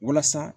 Walasa